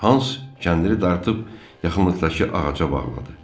Hans kəndiri dartıb yaxınlıqdakı ağaca bağladı.